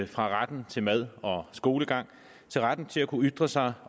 fra retten til mad og skolegang til retten til at kunne ytre sig